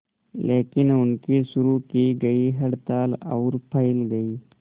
लेकिन उनकी शुरू की गई हड़ताल और फैल गई